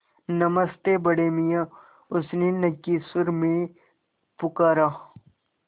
नमस्ते बड़े मियाँ उसने नक्की सुर में पुकारा